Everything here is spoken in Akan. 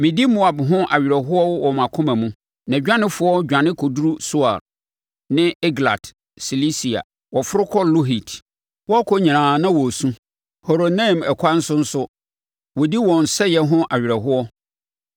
Medi Moab ho awerɛhoɔ wɔ mʼakoma mu; nʼadwanefoɔ dwane kɔduru Soar, ne Eglat Selisiya. Wɔforo kɔ Luhit, wɔrekɔ nyinaa na wɔresu; Horonaim ɛkwan so nso wɔdi wɔn sɛeɛ ho awerɛhoɔ.